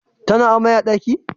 Tana amai a daki?